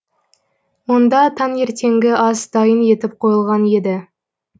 онда таңертеңгі ас дайын етіп қойылған еді